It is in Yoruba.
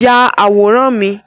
Yà àwòrán mi!